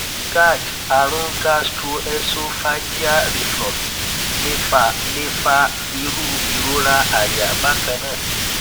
gerd arun gastroesophageal reflux le fa le fa iru irora aya bakan naa